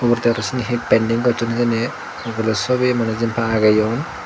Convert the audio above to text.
uguredi araw seni hi penting gosson hijeni ugure sobi mane jenpai ageyon.